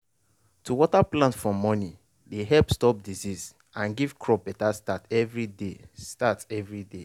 to water plant for morning dey help stop disease and give crop better start every day. start every day.